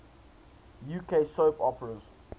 uk soap operas